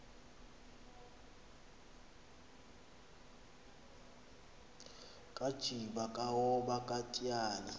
kajiba kaoba katyhali